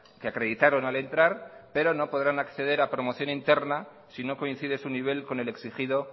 que acreditaron al entrar pero no podrán acceder a promoción interna si no coincide su nivel con el exigido